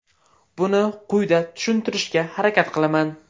Buni quyida tushuntirishga harakat qilaman.